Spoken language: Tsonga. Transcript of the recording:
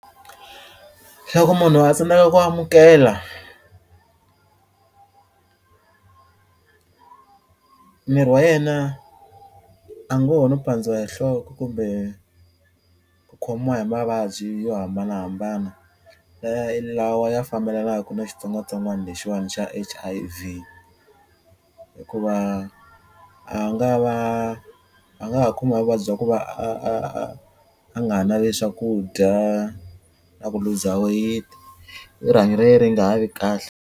Loko ku munhu a tsandzeka ku amukela miri wa yena a ngo ho no pandziwa hi nhloko kumbe ku khomiwa hi mavabyi yo hambanahambana lawa ya fambelanaku na xitsongwatsongwana lexiwani xa H_I_V hikuva a nga va a nga ha khomiwa vuvabyi bya ku va a a a a nga ha naveli swakudya na ku luza weyiti rihanyo ra ye ri nga ha vi kahle.